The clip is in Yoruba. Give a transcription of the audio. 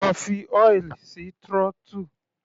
Lọ fi oil sí throttle.